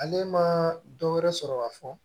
Ale ma dɔ wɛrɛ sɔrɔ ka fɔ